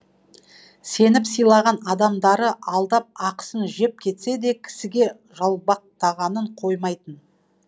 сеніп сыйлаған адамдары алдап ақысын жеп кетсе де кісіге жалбақтағанын қоймайтын